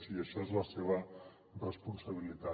i això és la seva responsabilitat